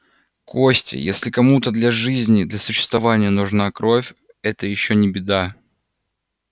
костя если кому-то для жизни для существования нужна кровь это ещё не беда